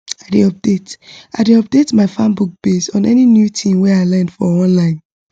i dey update i dey update my farm book base on any new thing wey i learn for online